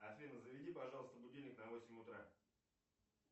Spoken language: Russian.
афина заведи пожалуйста будильник на восемь утра